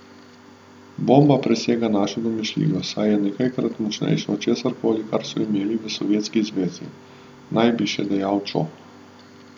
Bomba presega našo domišljijo, saj je nekajkrat močnejša od česar koli, kar so imeli v Sovjetski zvezi, naj bi še dejal Čo.